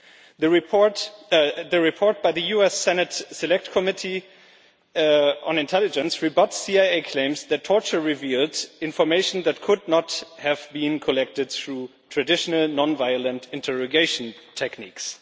The report by the US Senate Select Committee on Intelligence rebuts CIA claims that torture revealed information that could not have been collected through traditional non-violent interrogation techniques.